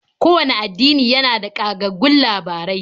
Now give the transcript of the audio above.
Kowanne addini yana da ƙagaggun labarai.